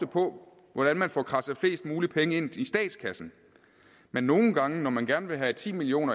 på hvordan man får kradset flest muligt penge ind i statskassen men nogle gange når man gerne have ti million